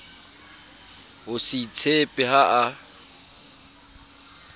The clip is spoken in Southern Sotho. ho se itshepe ha a